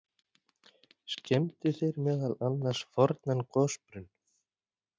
Skemmdu þeir meðal annars fornan gosbrunn.